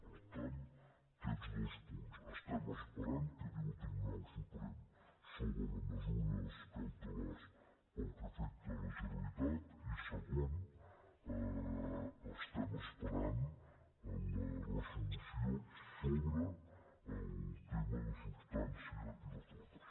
per tant aquests dos punts estem esperant què diu el tribunal suprem sobre les mesures cautelars pel que afecta a la generalitat i segon estem esperant la reso·lució sobre el tema de substància i de fons